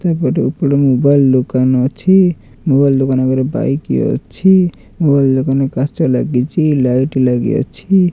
ତେବେଟୁ ଉକୁଡ଼ ମୋବାଇଲ୍ ଦୋକାନ ଅଛି ମୋବାଇଲ୍ ଦୋକାନ ଆଗାରେ ବାଇକ୍ ଅଛି ମୋବାଇଲ୍ ଦୋକାନରେ କାଚ ଲାଗିଚି ଲାଇଟ୍ ଲାଗିଅଛି।